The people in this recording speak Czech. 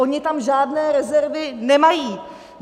Oni tam žádné rezervy nemají.